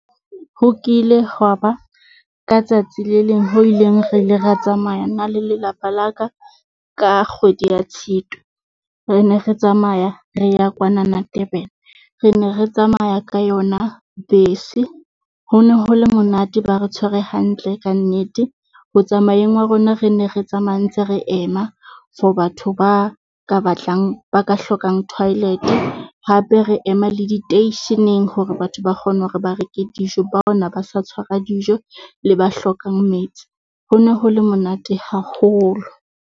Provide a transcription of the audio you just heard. Ho kile ho wa ba ka tsatsi le leng ho ileng re le re tsamaya nna le lelapa la ka. Ka kgwedi ya Tshitwe, re ne re tsamaya re ya kwanana Durban, re ne re tsamaya ka yona bese. Ho ne ho le monate, ba re tshwere hantle kannete. Ho tsamayeng wa rona re ne re tsamaya ntse re ema for batho ba ka batlang ba ka hlokang toilet, hape re ema le diteisheneng hore batho ba kgone hore ba reke dijo. Bao ne ba ne ba sa tshwara dijo le ba hlokang metsi. Ho ne ho le monate haholo.